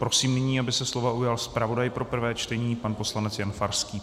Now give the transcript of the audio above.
Prosím nyní, aby se slova ujal zpravodaj pro prvé čtení pan poslanec Jan Farský.